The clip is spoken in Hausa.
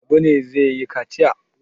Habu ne zai yi kaciya?